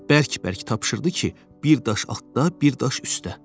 Bərk-bərk tapşırdı ki, bir daş atda, bir daş üstdə.